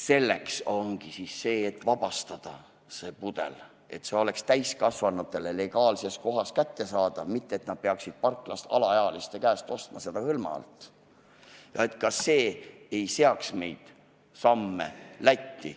Selleks ongi vaja see pudel vabastada, teha nii, et see oleks täiskasvanutele kättesaadav legaalses kohas, mitte et nad peaksid ostma seda parklast alaealiste käest hõlma alt või seaksid sammud Lätti.